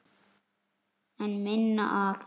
En minna af?